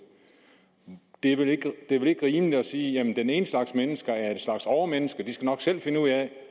det er vel ikke rimeligt at sige at den ene slags mennesker er en slags overmennesker og de skal nok selv finde ud af at